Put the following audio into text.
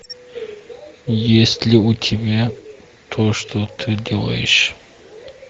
есть ли у тебя то что ты делаешь